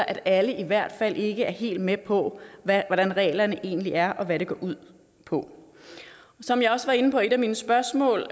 at alle i hvert fald ikke er helt med på hvordan reglerne egentlig er og hvad de går ud på som jeg også var inde på i et af mine spørgsmål